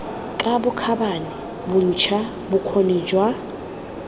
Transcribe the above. ka bokgabane bontsha bokgoni jwa